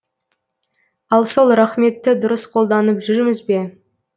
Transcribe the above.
ал сол рақметті дұрыс қолданып жүрміз бе